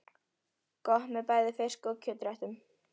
Gott með bæði fisk- og kjötréttum.